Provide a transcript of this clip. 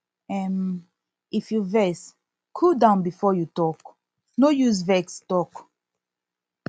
um if you vex cool down before you talk no use vex talk